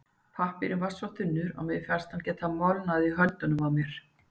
Pappírinn var svo þunnur að mér fannst hann geta molnað í höndunum á mér.